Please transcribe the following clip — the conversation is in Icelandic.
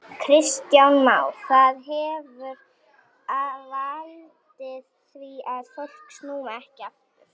Kristján Már: Það hefur valdið því að fólk snúi ekki aftur?